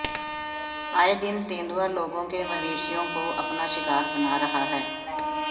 आए दिन तेंदुआ लोगों के मवेशियों को अपना शिकार बना रहा है